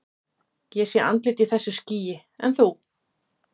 Ég sé andlit í þessu skýi, en þú?